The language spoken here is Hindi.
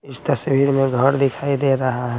इस तस्वीर में घर दिखाई दे रहा--